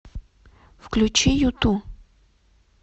включи юту